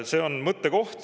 See on mõttekoht.